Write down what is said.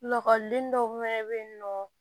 Lakɔliden dɔw fɛnɛ bɛ yen nɔ